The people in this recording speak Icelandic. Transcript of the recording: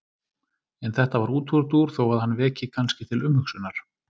En þetta var útúrdúr þó að hann veki kannski til umhugsunar.